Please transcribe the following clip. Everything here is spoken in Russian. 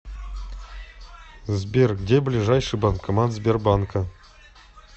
сбер где ближайший банкомат сбербанка